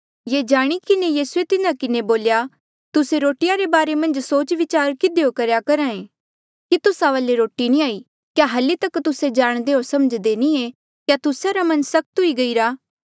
ये जाणी किन्हें यीसूए तिन्हा किन्हें बोल्या तुस्से रोटिया रे बारे मन्झ सोच विचार किधियो करेया करहा ऐें कि तुस्सा वाले रोटी नी हाई क्या हल्ली तक तुस्से जाणदे होर समझ्दे नी ऐें क्या तुस्सा रा मन सख्त हुई गईरा